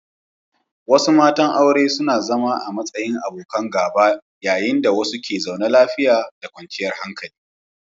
Wasu matan aure suna zama a matsayin abokan gaba yayin da wasu ke zaune lafiya da kwanciyar hankali.